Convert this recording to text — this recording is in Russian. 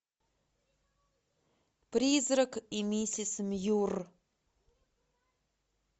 призрак и миссис мьюр